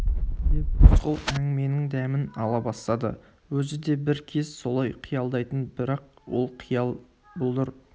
деп рысқұл әңгіменің дәмін ала бастады өзі де бір кез солай қиялдайтын бірақ ол қиял бұлдыр